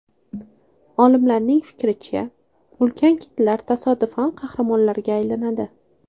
Olimlarning fikricha, ulkan kitlar tasodifan qahramonlarga aylanadi.